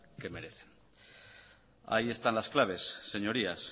que merece ahí están las claves señorías